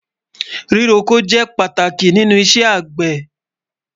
Epo jẹ pátàkì nínú Ìṣẹ̀ agbẹ́.